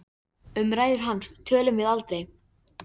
Um ræður hans tölum við aldrei.